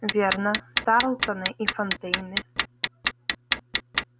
верно тарлтоны и фонтейны